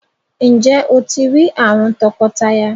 Njé o ti rí àwòn tọkọtaya?